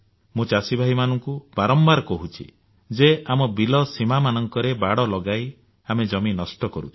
ମୁଁ ଚାଷୀଭାଇମାନଙ୍କୁ ବାରମ୍ବାର କହୁଛି ଯେ ଆମ ବିଲବାଡ ସୀମାରେ ବାଡ ଲଗାଇ ଆମେ ଜମି ନଷ୍ଟ କରୁଛୁ